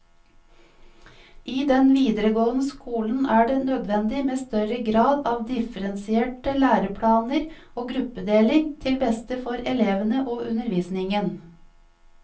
I den videregående skolen er det nødvendig med større grad av differensierte læreplaner og gruppedeling, til beste for elevene og undervisningen.